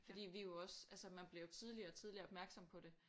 Fordi vi jo også altså man bliver jo tidligere og tidligere opmærksom på det